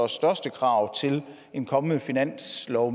største krav til en kommende finanslov